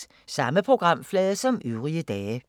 Samme programflade som øvrige dage